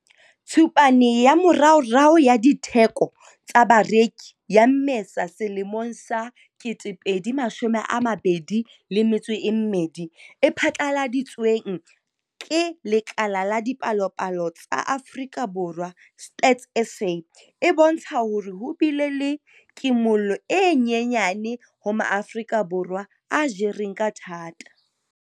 Tshupane ya moraorao ya Ditheko tsa Bareki ya Mmesa 2022 e phatlaladitsweng ke Lekala la Dipalopalo tsa Afrika Borwa, Stats SA, e bontsha hore ho bile le kimollo e nyenyane ho Maafrika Borwa a jereng ka thata.